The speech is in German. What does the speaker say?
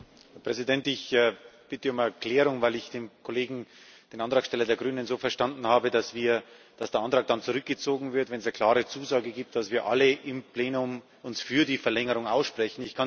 Herr Präsident! Ich bitte um eine Erklärung, weil ich den Kollegen, den Antragsteller der Grünen, so verstanden habe, dass der Antrag dann zurückgezogen wird, wenn es eine klare Zusage gibt, dass wir alle im Plenum uns für die Verlängerung aussprechen.